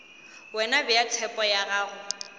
wena bea tshepo ya gago